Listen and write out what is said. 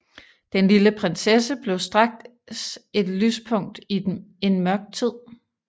Den lille prinsesse blev straks et lyspunkt i en mørk tid